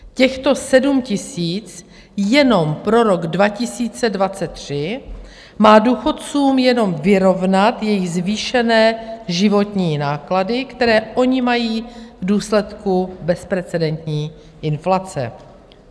Těchto 7 000 jenom pro rok 2023 má důchodcům jenom vyrovnat jejich zvýšené životní náklady, které oni mají v důsledku bezprecedentní inflace.